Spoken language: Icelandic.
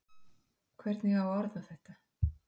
Hvernig á að orða þetta?